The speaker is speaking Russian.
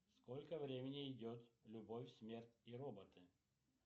сколько времени идет любовь смерть и роботы